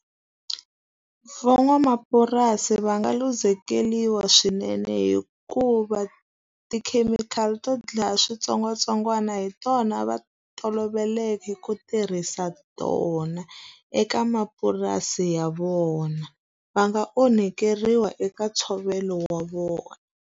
Van'wamapurasi va nga luzekeriwa swinene hikuva tikhemikhali to dlaya switsongwatsongwana hi tona va toloveleke ku tirhisa tona, eka mapurasi ya vona. Va nga onhakeriwa eka ntshovelo wa vona.